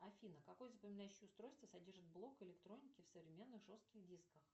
афина какое запоминающее устройство содержит блок электроники в современных жестких дисках